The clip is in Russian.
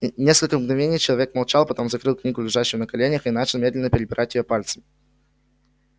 несколько мгновений человек молчал потом закрыл книгу лежащую на коленях и начал медленно перебирать её пальцами